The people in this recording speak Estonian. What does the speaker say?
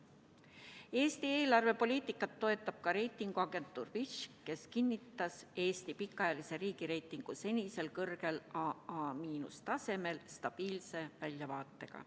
Eesti eelarvepoliitikat toetab ka reitinguagentuur Fitch, kes kinnitas Eesti pikaajalise riigireitingu senisel kõrgel tasemel AA– stabiilse väljavaatega.